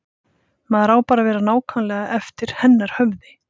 Maður á bara að vera nákvæmlega eftir hennar höfði.